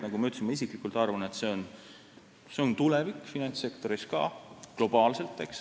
Nagu ma ütlesin, isiklikult arvan, et see on finantssektori tulevik, ka globaalselt.